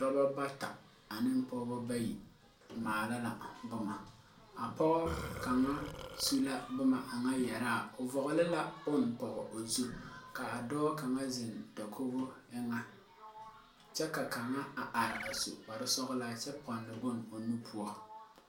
Dɔba bata ani pɔgba bayi maala la buma a poɔ kanga su la buma a nga yɛraa ɔ vɔgle la bun pɔg ɔ zu kaa doɔ kanga zeng dakogo enga kye ka kanga arẽ a su kpare sɔglaa kye pɔnne bɔn ɔ nu poɔ.